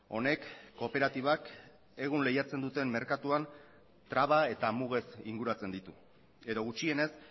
honek kooperatibak egun lehiatzen duten merkatuan traba eta mugez inguratzen ditu edo gutxienez